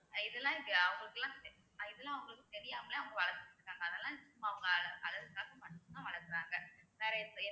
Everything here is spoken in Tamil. இதெல்லாம் இது அவங்களுக்கெல்லாம் இதெல்லாம் அவங்களுக்கு தெரியாமலே அவங்க வளர்த்துட்டிருக்காங்க அதெல்லாம் சும்மா அவுங்க அழகுக்காக மட்டும்தான் வளர்க்கறாங்க வேற எப்~